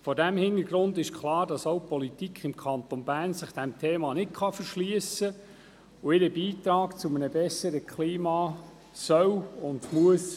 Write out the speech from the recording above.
Vor diesem Hintergrund ist es klar, dass auch die Politik im Kanton Bern sich diesem Thema nicht verschliessen kann und ihren Beitrag zu einem besseren Klima leisten soll und muss.